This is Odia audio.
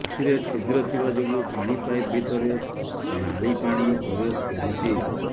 ଏଥିରେ ଛିଦ୍ର ଥିବା ଯୋଗୁଁ ପାଣି ପାଇପ ଭିତରେ ନାଳି ପାଣି ପ୍ରବେଶ କରୁଛି